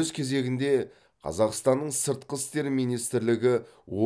өз кезегінде қазақстанның сыртқы істер министрлігі